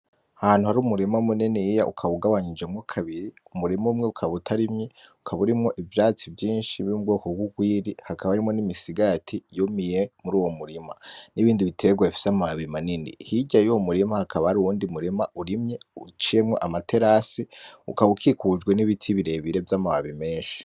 Ahantu hari umurima muniniya ukaba ugabanijemwo kabiri, umurima umwe ukaba utarimye, ukaba urimwo ivyatsi vyinshi vy'ubwoko vy'ugwiri, hakaba harimwo n'imisigati yumiye muruwo murima n'ibindi biterwa bifise amababi manini, hirya yuwo murima hakaba hari uwundi murima urimye uciyemwo ama terasi ukaba ukikujwe n'ibiti birebire vy'amababi menshi.